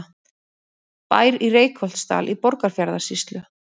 Bær í Reykholtsdal í Borgarfjarðarsýslu.